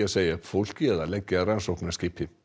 að segja upp fólki eða leggja rannsóknarskipi